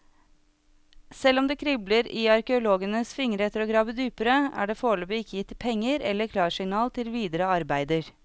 Selv om det kribler i arkeologenes fingre etter å grave dypere, er det foreløpig ikke gitt penger eller klarsignal til videre arbeider.